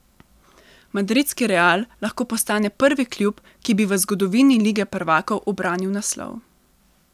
Madridski Real lahko postane prvi klub, ki bi v zgodovini lige prvakov ubranil naslov.